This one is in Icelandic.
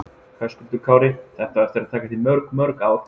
Höskuldur Kári: Þetta á eftir að taka þig mörg mörg ár?